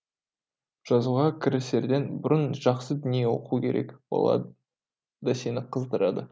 жазуға кірісерден бұрын жақсы дүние оқу керек олар да сені қыздырады